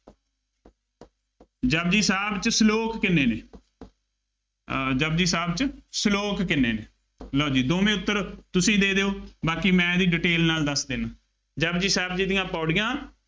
ਜਪੁਜੀ ਸਾਹਿਬ ਚ ਸਲੋਕ ਕਿੰਨੇ ਨੇ, ਅਹ ਜਪੁਜੀ ਸਾਹਿਬ ਚ ਸਲੋਕ ਕਿੰਨੇ ਨੇ, ਲਉ ਜੀ ਦੋਵੇਂ ਉੱਤਰ, ਤੁਸੀਂ ਦੇ ਦਿਉ, ਬਾਕੀ ਮੈਂ ਇਹਦੀ detail ਨਾਲ ਦੱਸ ਦਿੰਦਾ, ਜਪੁਜੀ ਸਾਹਿਬ ਜੀ ਦੀਆਂ ਪੌੜੀਆਂ